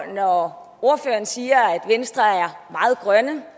når ordføreren siger at venstre er meget grønne